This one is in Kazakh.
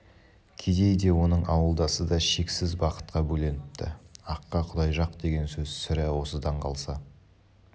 кедей де оның ауылдасы да шексіз бақытқа бөленіпті аққа құдай жақ деген сөз сірә осыдан қалса